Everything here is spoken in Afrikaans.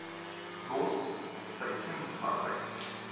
los seisoensarbeid